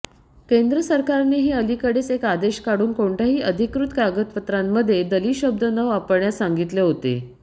केंद्र सरकारनेही अलीकडेच एक आदेश काढून कोणत्याही अधिकृत कागदपत्रांमध्ये दलित शब्द न वापरण्यास सांगितले होते